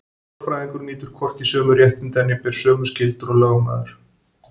Lögfræðingur nýtur hvorki sömu réttinda né ber sömu skyldur og lögmaður.